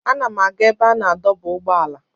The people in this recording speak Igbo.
Ana m aga ebe a na-adọba ụgbọala.